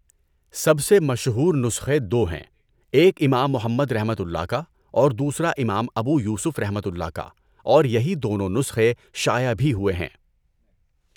سب سے مشہور نسخے دو ہیں، ایک امام محمدؒ کا اور دوسرا امام ابو یوسفؒ کا اور یہی دونوں نسخے شائع بھی ہوئے ہیں۔